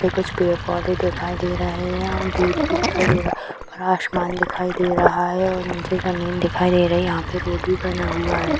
कुछ पेड़ पौधे दिखाई दे रहे हैं | यहाँ गेट भी दिखाई दे रहा है ऊपर आसमान दिखाई दे रहा है और निचे जमीन दिखाई दे रही है यहाँ पे रोड भी बना हुआ है |